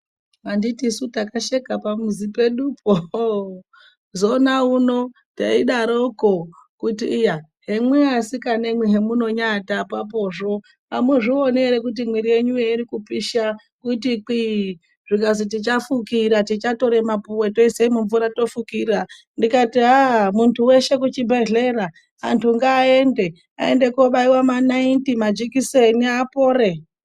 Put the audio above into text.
Anditisu takasheka pamuzi pedupo ooh! zoona uno taidoroko kuti iya nemwi asikanamwi hemunoatapo ponaapapozvo amuzvioni here kuti mwiiri yenyuyo iri kupisha kuti kwii ,zvikazi tichafukira tichatora mapuwe toisa mumvura tofukira ndikati aa muntu weshe kuchibhedhlera antu ngaaende aende kobaiwa manaiti majikiseni apore.